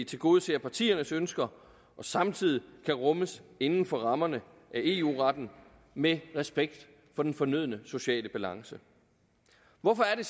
tilgodeser partiernes ønsker og samtidig kan rummes inden for rammerne af eu retten med respekt for den fornødne sociale balance hvorfor er